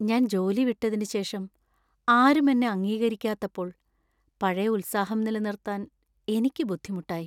ഞാൻ ജോലി വിട്ടതിനുശേഷം ആരും എന്നെ അംഗീകരിക്കാത്തപ്പോൾ പഴയ ഉത്സാഹം നിലനിർത്താൻ എനിക്ക് ബുദ്ധിമുട്ടായി .